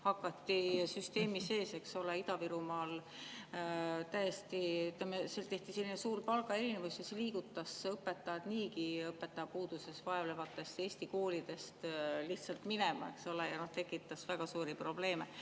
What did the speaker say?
Seal tehti süsteemi sees, eks ole, Ida-Virumaal, suur palgaerinevus ja see liigutas õpetajad niigi õpetajate puuduses vaevlevatest Eesti koolidest lihtsalt minema ja see tekitas väga suuri probleeme.